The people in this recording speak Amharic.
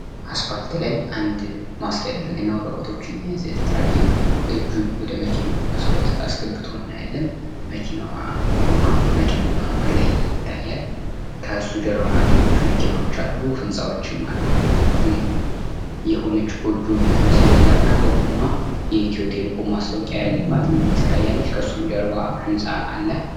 አስፓልት ላይ አንድ ማስክ ያደረገ ወረቀቶችን የያዘ ትራፊክ እጁን ወደ መኪናው መስኮት አስገብቶ እናያለን። መኪናው ቆሞ የጫነውም ከላይ ይታያል። ከሱ ደሞ ኋላ ያሉ መኪኖች አሉ፤ ህንጻዎችም አሉ፤ የሆኑ ጎጆ ምትመስል ነገር ከጎኑ የኢትዮ ቴሌኮም ማስታወቂያ ትታያለች፤ ከሱም ኋላ ህንጻ አለ።